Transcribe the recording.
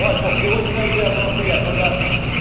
Olha, porque hoje não é dia, não é um feriado. Quando é